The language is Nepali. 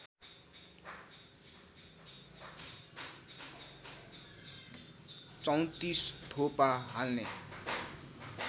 ३४ थोपा हाल्ने